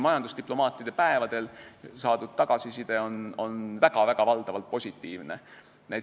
Majandusdiplomaatide päevadel saadud tagasiside on olnud valdavalt väga positiivne.